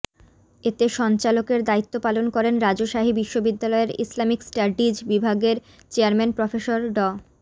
এতে সঞ্চালকের দায়িত্ব পালন করেন রাজশাহী বিশ্ববিদ্যালয়ের ইসলামিক স্টাডিজ বিভাগের চেয়ারম্যান প্রফেসর ড